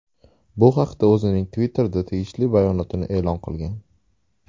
Bu haqda o‘zining Twitter’da tegishli bayonotni e’lon qilgan.